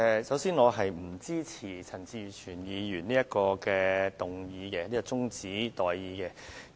首先，我不支持陳志全議員提出的中止待續議案。